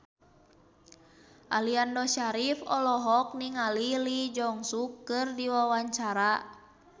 Aliando Syarif olohok ningali Lee Jeong Suk keur diwawancara